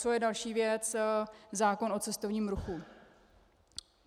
Co je další věc - zákon o cestovním ruchu.